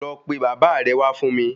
Lọ pe Baba re wá fún mi